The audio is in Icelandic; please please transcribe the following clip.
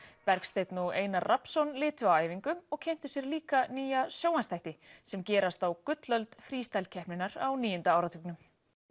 Bergsteinn og Einar Rafnsson litu á æfingu og kynntu sér líka nýja sjónvarpsþætti sem gerast á gullöld Freestyle keppninnar á níunda áratugnum